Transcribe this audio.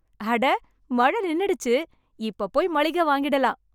அட மழ நின்னுடுச்சு. இப்ப போய் மளிக வாங்கிடலாம்.